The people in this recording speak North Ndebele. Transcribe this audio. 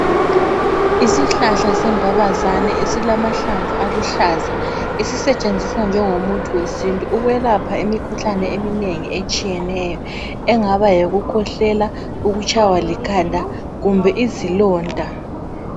Isihlahla sembabazani esilamahlamvu aluhlaza, esisetshenziswa njengomuthi wesintu ukwelapha imikhuhlane eminengi etshiyeneyo, engaba yikukhwehlela, ukutshaywa likhanda kumbe izilonda.